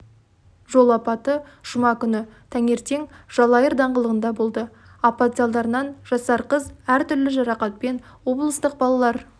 жол апаты жұма күні таңертең жалайыр даңғылында болды апат салдарынан жасар қыз әртүрлі жарақатпен облыстық балалар